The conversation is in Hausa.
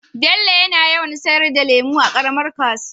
Bello yana yawan sayar da lemu a karamar kasuwa